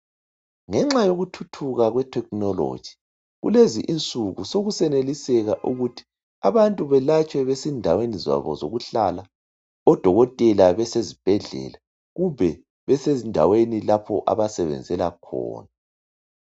ngenxa yoku thuthuka kwe thekhinologi kulezi insuku sokuseneliseka ukuthi abantu belatshwe besendaweni zabo zokuhlala odokotela besezibhedlela kumbe besendaweni zabo lapho abasebenzela khona